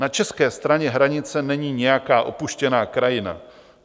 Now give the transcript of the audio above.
Na české straně hranice není nějaká opuštěná krajina.